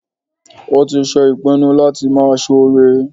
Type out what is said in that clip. Ó tí se ìpinu láti máa soore